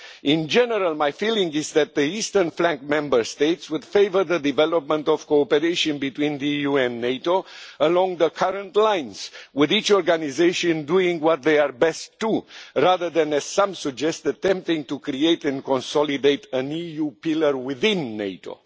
In general, my feeling is that the eastern flank Member States would favour the development of cooperation between the EU and NATO along the current lines, with each organisation doing what they are best at, rather than, as some suggest, attempting to create and consolidate an EU pillar within NATO.